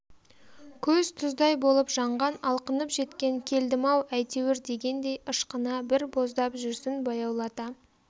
көз тұздай болып жанған алқынып жеткен келдім-ау әйтеуір дегендей ышқына бір боздап жүрсін баяулата